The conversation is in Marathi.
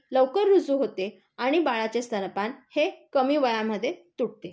लवकर रुजू होते, आणि बाळाचे स्तनपान हे कमी वयामध्ये तुटते.